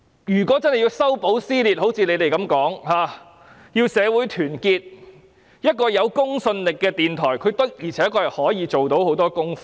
要一如他們所說般修補撕裂和團結社會，一個有公信力的電台的確可以進行很多工作。